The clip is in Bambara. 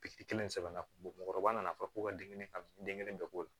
Pikiri kelen sɛbɛn na mɔgɔkɔrɔba nana fɔ ko ka den kelen ka den kelen bɛɛ k'o la